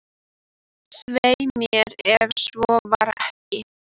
Hann bara sat með þessu ánalega glotti sínu.